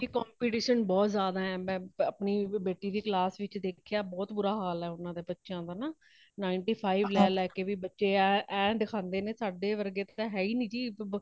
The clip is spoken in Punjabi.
ਕੀ competition ਬਹੁਤ ਜ਼ਿਆਦਾ ਹੇ, ਮੈ ਆਪਣੀ ਬੇਟੀ ਦੀ class ਵਿੱਚ ਦੇਖਿਆ , ਬਹੁਤ ਬੁਰਾ ਹਾਲ ਹੇ ਉਣਦੇ ਬੱਚਇਆ ਦਾ ਨਾ ninety five ਲੈ ਕੇ ਬੱਚੇ ਇਹ ਦਿਖਾਂਦੇ ਨੇ ,ਸਾਡੇ ਵਰਗੇ ਤਾ ਹੇਹੀ ਨਹੀਂ ਜੀ , ਇਕ ਕੁੜੀ ਤਾ ਰੋਈ ਵੀਗੀ ਸੀਗੀ ਬਾਣੀ ਦਾਸ ਰਹੀ ਸੀ ਮੇਨੂ